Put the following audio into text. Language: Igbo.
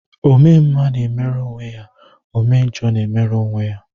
Ome mma na-emere onwe ya, ome njọ na-emere onwe ya